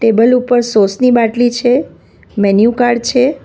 Table ઉપર sauce ની બાટલી છે મેન્યુ કાર્ડ છે.